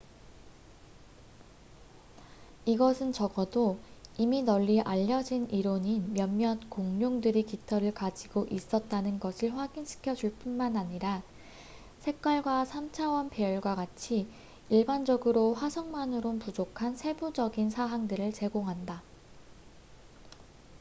이것은 적어도 이미 널리 알려진 이론인 몇몇 공룡들이 깃털을 가지고 있었다는 것을 확인 시켜 줄 뿐만 아니라 색깔과 3차원 배열과 같이 일반적으로 화석만으론 부족한 세부적인 사항들을 제공한다